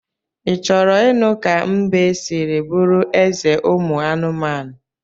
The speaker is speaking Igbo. I choro inu ka mbe siri buru eze umu anumanu?